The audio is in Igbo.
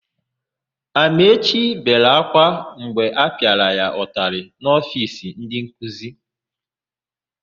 Amaechi bere ákwá mgbe a pịara ya ụtalị n'ofiisi ndịnkuzi.